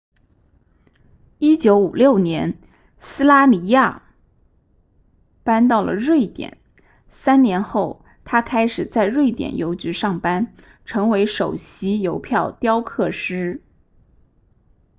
1956年斯拉尼亚 słania 搬到了瑞典三年后他开始在瑞典邮局上班成为首席邮票雕刻师